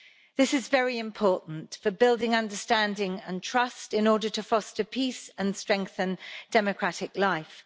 This is very important for building understanding and trust in order to foster peace and strengthen democratic life.